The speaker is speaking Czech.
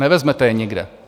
Nevezmete je nikde.